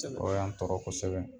O y'an tɔɔrɔ kɔsɛbɛ.